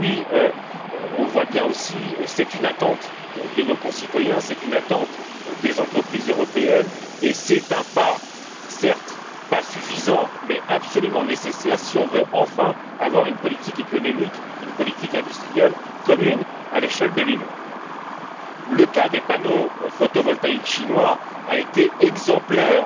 Nous constatons également que c'est une attente de nos concitoyens, c'est une attente des entreprises européennes et c'est un pas, certes insuffisant, mais absolument nécessaire si nous voulons enfin avoir une politique économique et une politique industrielle communes à l'échelle de l'Union. Le cas des panneaux photovoltaïques chinois a été exemplaire